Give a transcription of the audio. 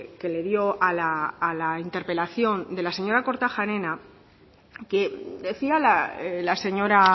que le dio a la interpelación de la señora kortajarena que decía la señora